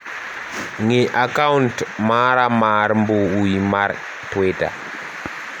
ng'i akaunt mara mar mbui mar twita